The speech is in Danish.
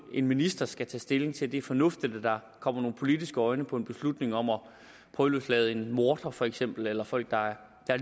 en minister skal tage stilling til det er fornuftigt at der kommer nogle politiske øjne på en beslutning om at prøveløslade en morder for eksempel eller folk der er